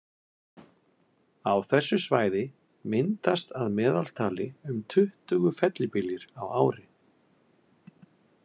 Á þessu svæði myndast að meðaltali um tuttugu fellibyljir á ári.